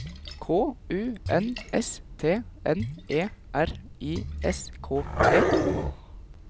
K U N S T N E R I S K E